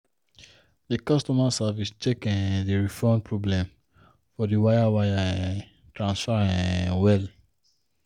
the customer service check um the refund problem for the wire wire um transfer um well.